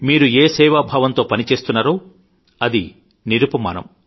మీరు ఏ సేవాభావంతో పని చేస్తున్నారో అది నిరుపమానం